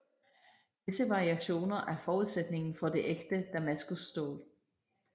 Disse variationer er forudsætningen for det ægte damaskusstål